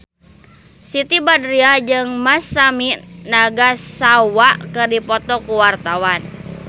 Siti Badriah jeung Masami Nagasawa keur dipoto ku wartawan